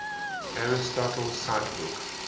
aristotle cite book